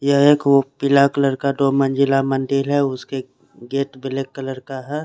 यह एक पिला कलर का दो मंजिला मंदिर है उसके गेट ब्लैक कलर का है।